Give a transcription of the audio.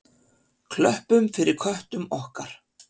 Klöppum fyrir köttum okkar!